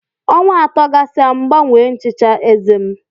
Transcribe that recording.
Ọnwa atọ gasịa M gbanwee nchicha eze m.